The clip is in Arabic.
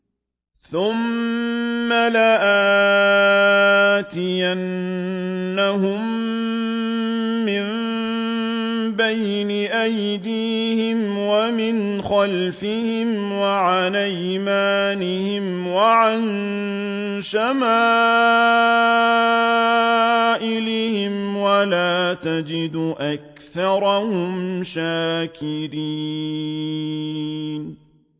ثُمَّ لَآتِيَنَّهُم مِّن بَيْنِ أَيْدِيهِمْ وَمِنْ خَلْفِهِمْ وَعَنْ أَيْمَانِهِمْ وَعَن شَمَائِلِهِمْ ۖ وَلَا تَجِدُ أَكْثَرَهُمْ شَاكِرِينَ